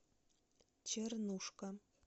чернушка